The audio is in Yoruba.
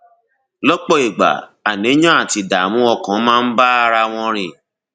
lọpọ ìgbà àníyàn àti ìdààmú ọkàn máa ń bára wọn rìn